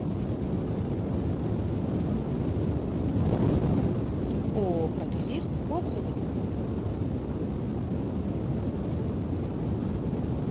ооо протезист отзывы